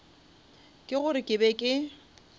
ke gore ke be ke